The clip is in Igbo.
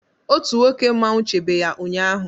Otu nwoke mmanwụ chebe ya ụnyahụ.